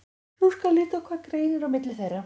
Nú skal líta á hvað greinir á milli þeirra.